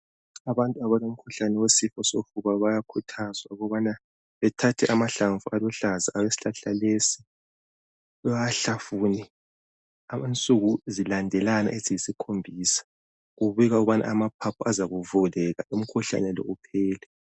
Abantu abalomkhuhlane wesifo sofuba bayakhuthazwa ukuthi bathathe amahlamvu aluhlaza esihlahla lesi, bawahlafune, okwensuku eziyisikhombisa zilandelana. Kubikwa ukuba amaphaphu azavuleka. Umkhuhlane lo uphele.